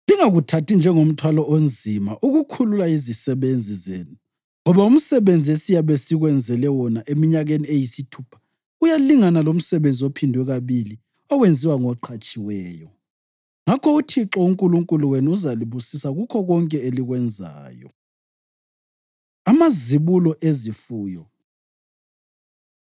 Lingakuthathi njengomthwalo onzima ukukhulula izisebenzi zenu, ngoba umsebenzi esiyabe sikwenzele wona eminyakeni eyisithupha uyalingana lomsebenzi ophindwe kabili owenziwa ngoqhatshiweyo. Ngakho uThixo uNkulunkulu wenu uzalibusisa kukho konke elikwenzayo.” Amazibulo Ezifuyo